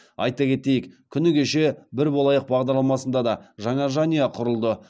айта кетейік күні кеше бір болайық бағдарламасында да жаңа жанұя құрылды